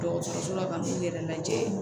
Dɔgɔtɔrɔso la ka n'u yɛrɛ lajɛ